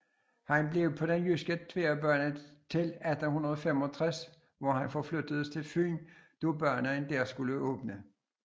Han blev på den jyske tværbane til 1865 hvor han forflyttedes til Fyn da banen der skulle åbne